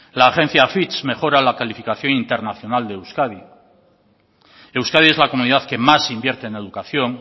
la agencia fitch mejora la calificación internacional de euskadi euskadi es la comunidad que más invierte en educación